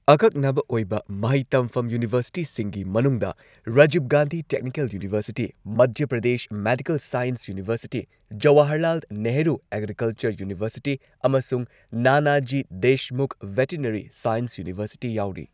ꯑꯀꯛꯅꯕ ꯑꯣꯏꯕ ꯃꯍꯩ ꯇꯝꯐꯝ ꯌꯨꯅꯤꯚꯔꯁꯤꯇꯤꯁꯤꯡꯒꯤ ꯃꯅꯨꯡꯗ Rajiv Gandhi technical university , Madhya Pradesh medical science university, Jawaharlal Nehru agriculture university ꯑꯃꯁꯨꯡ Nanaji Deshmukh veterinary science university ꯌꯥꯎꯔꯤ꯫